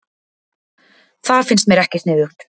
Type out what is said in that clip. Það finnst mér ekki sniðugt